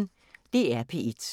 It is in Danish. DR P1